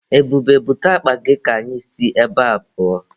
Ebube, bute akpa gị ka anyị si ebea pụọ.